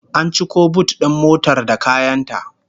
An ciko but din motar da kayan ta